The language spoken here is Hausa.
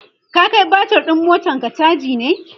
ka Kai batir ɗin motanka chaji ne?